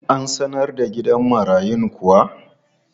An sanar da gidan marayun kuwa?